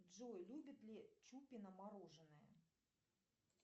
джой любит ли чупина мороженое